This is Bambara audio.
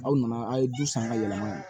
Aw nana a' ye du san ka yɛlɛma